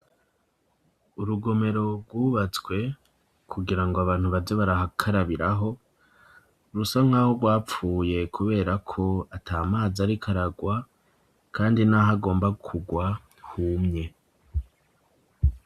Urugomero rwubatswe, kugira ngo abantu baze barakarabiraho, rusa nk'aho rwapfuye kubera ko ata mazi ariko aragwa, kandi n'aho agomba kugwa humye.